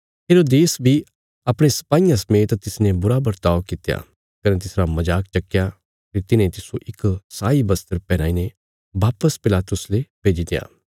हेरोदेस बी अपणे सपाईयां समेत तिसने बुरा बरताव कित्या कने तिसरा मजाक चक्कया फेरी तिन्हे तिस्सो इक शाही बस्त्र पैहनाईने वापस पिलातुस ले भेजित्या